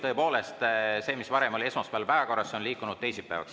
Tõepoolest, see, mis varem oli esmaspäeval päevakorras, on liikunud teisipäevaks.